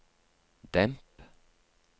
demp